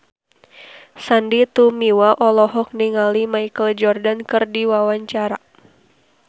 Sandy Tumiwa olohok ningali Michael Jordan keur diwawancara